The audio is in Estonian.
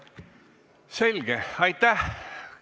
Selge, aitäh!